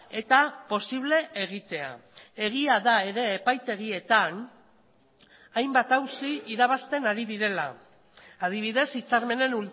eta posible egitea egia da ere epaitegietan hainbat auzi irabazten ari direla adibidez hitzarmenen